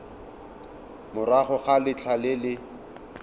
morago ga letlha le le